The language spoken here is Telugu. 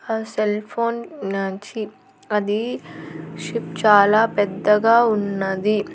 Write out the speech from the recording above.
హ సెల్ ఫోన్ న ఛీ అది షిప్ చాలా పెద్దగా ఉన్నది--